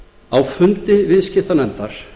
á fundi viðskiptanefndar